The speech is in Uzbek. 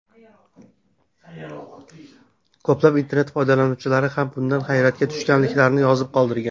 Ko‘plab internet foydalanuvchilari ham bundan hayratga tushganliklarini yozib qoldirgan.